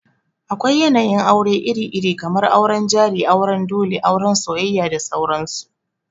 Akwai yanayin aure iri-iri, kamar auren jari, auren dole, auran soyayya da sauran su.